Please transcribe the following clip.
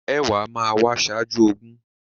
Ẹ̀wá máa wá ṣájú ogún.